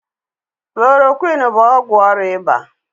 Klorokwinụ bụ ọgwụ ọrịa ịba.